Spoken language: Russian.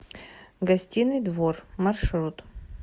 гостиный двор маршрут